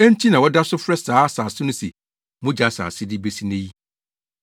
Enti na wɔda so frɛ saa asase no se, “Mogya Asase” de besi nnɛ yi.